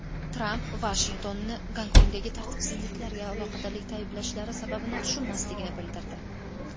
Tramp Vashingtonni Gonkongdagi tartibsizliklarga aloqadorlikda ayblashlari sababini tushunmasligini bildirdi.